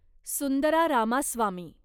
Sundara Ramaswamy